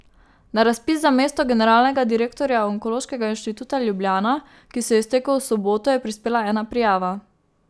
Na razpis za mesto generalnega direktorja Onkološkega inštituta Ljubljana, ki se je iztekel v soboto, je prispela ena prijava.